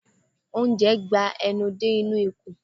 Oúnjẹ ń gba enú dé inú ikùn